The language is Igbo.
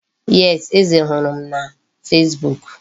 Yes, Eze hụrụ m na fesbuk.